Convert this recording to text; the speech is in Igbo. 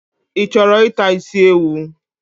Ichoro ita isi ewu?